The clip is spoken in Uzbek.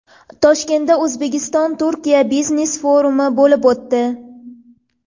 Toshkentda O‘zbekistonTurkiya biznes-forumi bo‘lib o‘tdi.